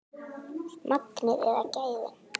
Magnið eða gæðin?